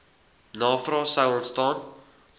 navrae sou ontstaan